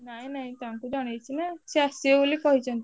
ନାଇଁ ନାଇଁ ତାଙ୍କୁ ଜଣେଇଛି ନାଁ ସିଏ ଆସିବେ ବୋଲି କହିଛନ୍ତି।